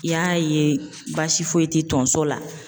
I y'a ye baasi foyi tɛ tonso la.